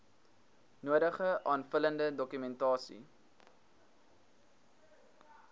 nodige aanvullende dokumentasie